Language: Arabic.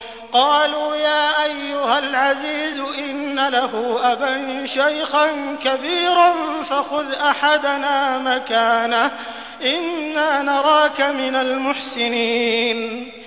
قَالُوا يَا أَيُّهَا الْعَزِيزُ إِنَّ لَهُ أَبًا شَيْخًا كَبِيرًا فَخُذْ أَحَدَنَا مَكَانَهُ ۖ إِنَّا نَرَاكَ مِنَ الْمُحْسِنِينَ